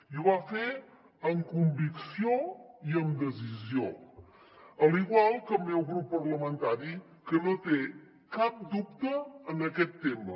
i ho va fer amb convicció i amb decisió igual que el meu grup parlamentari que no té cap dubte en aquest tema